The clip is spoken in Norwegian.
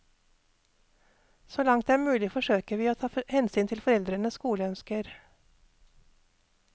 Så langt det er mulig forsøker vi å ta hensyn til foreldrenes skoleønsker.